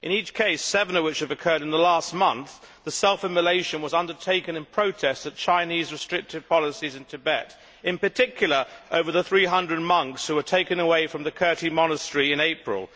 In each case, seven of which have occurred in the last month, the self immolation was undertaken in protest at China's restrictive policies in Tibet, and in particular over the 300 monks who were taken away from the Kirti monastery in April.